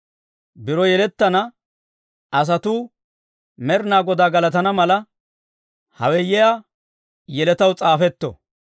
Biro yelettana asatuu Med'inaa Godaa galatana mala, hawe yiyaa yeletaw s'aafetto.